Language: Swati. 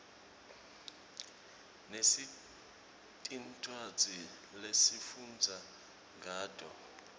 sinetincwadzi lesifundza ngato